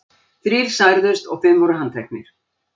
Þrír særðust og fimm voru handteknir.